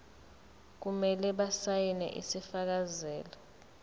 kumele basayine isifakazelo